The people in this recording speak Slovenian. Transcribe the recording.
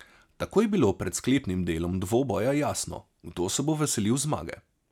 Tako je bilo pred sklepnim delom dvoboja jasno, kdo se bo veselil zmage.